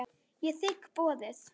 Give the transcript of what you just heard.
Ég þigg boðið.